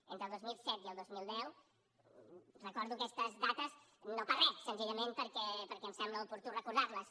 entre el dos mil set i el dos mil deu recordo aquestes dates no per re senzillament perquè em sembla oportú recordar les